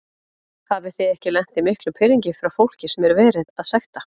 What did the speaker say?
Hafið þið ekki lent í miklum pirringi frá fólki sem er verið að sekta?